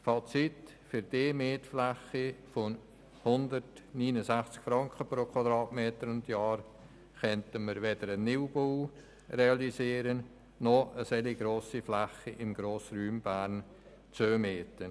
Fazit: Für die Mietfläche von 169 Franken pro Quadratmeter und Jahr könnten wir weder einen Neubau realisieren noch eine solch grosse Fläche im Grossraum Bern zumieten.